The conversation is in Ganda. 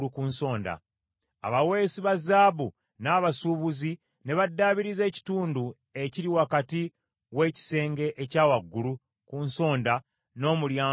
Abaweesi ba zaabu n’abasuubuzi ne baddaabiriza ekitundu ekiri wakati w’ekisenge ekya waggulu ku nsonda n’Omulyango gw’Endiga.